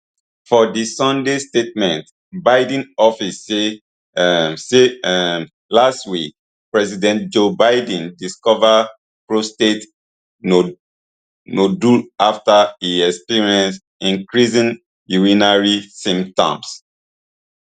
for di sunday statement biden office say um say um last week president joe biden discover prostate no nodule afta e experience increasing urinary symptoms